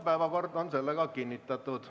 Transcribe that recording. Päevakord on kinnitatud.